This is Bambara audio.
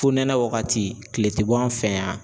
Fo nɛnɛ wagati kile tɛ bɔ an fɛ yan.